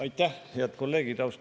Aitäh, head kolleegid!